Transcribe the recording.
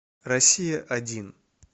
россия один